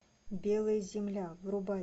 белая земля врубай